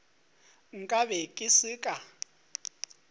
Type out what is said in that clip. nka be ke se ka